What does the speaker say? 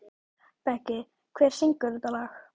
Beggi, hver syngur þetta lag?